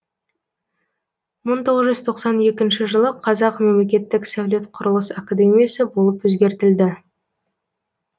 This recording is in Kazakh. мың тоғыз жүз тоқсан екінші жылы қазақ мемлекеттік сәулет құрылыс академиясы болып өзгертілді